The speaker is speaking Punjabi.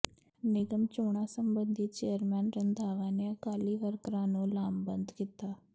ਨਿਗਮ ਚੋਣਾਂ ਸਬੰਧੀ ਚੇਅਰਮੈਨ ਰੰਧਾਵਾ ਨੇ ਅਕਾਲੀ ਵਰਕਰਾਂ ਨੂੰ ਲਾਮਬੰਦ ਕੀਤਾ